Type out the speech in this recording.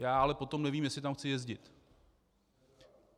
Já ale potom nevím, jestli tam chci jezdit.